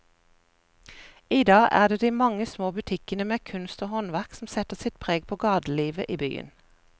I dag er det de mange små butikkene med kunst og håndverk som setter sitt preg på gatelivet i byen.